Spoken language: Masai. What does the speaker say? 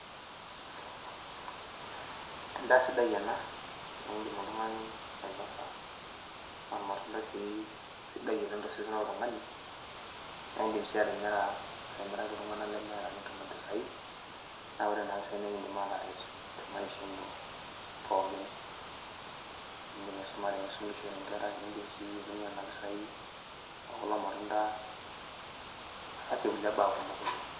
Endaa sidai ena niindim oltung'ani ainosa, ormatundai sii sidai oleng' tosesen loltung'ani, naa aindim sii atimiraki iltung'ana lemeeta nitum impisai, naa ore nena pisai naa ekiindim aataret temaisha ino pookin. Iindim aisumare, aisumishore inkera niindim sii aitumia nena pisai ekulo matunda aasie kulie baa kumok oleng'